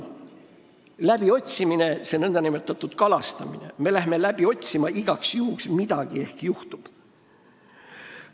See nn kalastamine on vana lugu: me läheme igaks juhuks läbi otsima, ehk juhtub midagi.